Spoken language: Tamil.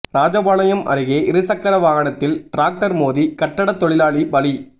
ராஜபாளையம் அருகே இருசக்கர வாகனத்தில் டிராக்டர் மோதி கட்டட தொழிலாளி பலி